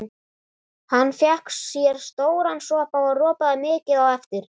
Hann fékk sér stóran sopa og ropaði mikið á eftir.